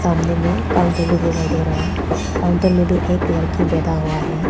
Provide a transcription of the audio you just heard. सामने में एक काउंटर दिखाई दे रहा है काउंटर में भी एक लड़की बैठा हुआ है।